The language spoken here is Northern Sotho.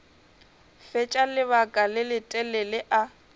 fetša lebaka le letelele a